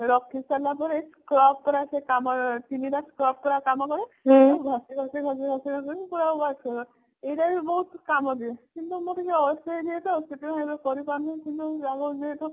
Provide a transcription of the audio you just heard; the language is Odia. ରାଖୀ ସାରିଲା ପରେ scrub କରିବା ସେ କାମରେ ଆସେ ଚିନି ଗୁଡା ଚିନି ଗୁଡା scrub କରିବାରେ କମ ଦେବ ତାକୁ ଘଷି ଘଷି ଘଷି ଘଷି ପୁରା wash କରିବ ଏଇଟା ବି ବହୁତ କାମ ଦିଏ କିନ୍ତୁ ମୁଁ ଟିକେ ଅଳସୁଆ ହେଇଯାଏ ତ ଶେଠୀ ପାଇଁ ଏବେ କରିପାରୁନି ହେଲେ ବି